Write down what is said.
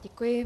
Děkuji.